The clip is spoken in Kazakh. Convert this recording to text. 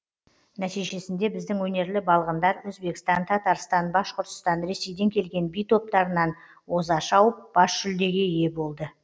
нәтижесінде біздің өнерлі балғындар өзбекстан татарстан башқұртстан ресейден келген би топтарынан оза шауып бас жүлдеге ие болды